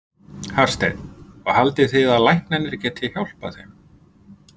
Hafsteinn: Og haldið þið að læknarnir geti hjálpað þeim?